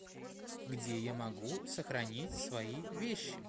где я могу сохранить свои вещи